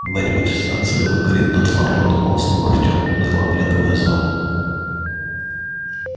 когда-нибудь эта станция выгорит дотла подумал вслух артём уныло оглядывая зал